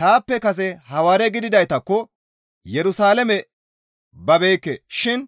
Taappe kase Hawaare gididaytakko Yerusalaame babeekke shin